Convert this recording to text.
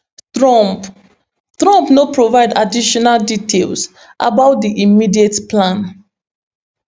trump trump no provide additional details about di immediate plan